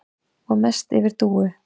Og mest yfir Dúu.